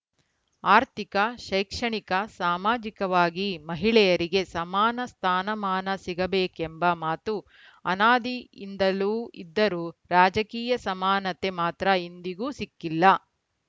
ಆರ್ಥಿಕ ಶೈಕ್ಷಣಿಕ ಸಾಮಾಜಿಕವಾಗಿ ಮಹಿಳೆಯರಿಗೆ ಸಮಾನ ಸ್ಥಾನಮಾನ ಸಿಗಬೇಕೆಂಬ ಮಾತು ಅನಾದಿಯಿಂದಲೂ ಇದ್ದರೂ ರಾಜಕೀಯ ಸಮಾನತೆ ಮಾತ್ರ ಇಂದಿಗೂ ಸಿಕ್ಕಿಲ್ಲ